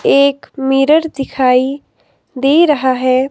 एक मिरर दिखाई दे रहा है।